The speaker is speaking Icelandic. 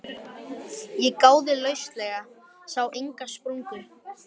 Ég gáði lauslega, sá enga sprungu.